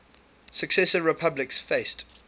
successor republics faced